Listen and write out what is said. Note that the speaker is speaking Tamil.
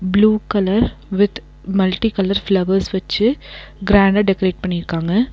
Blue colour with multi colour flowers வச்சு க்ராண்டா டெக்ரேட் பண்ணிருக்காங்க.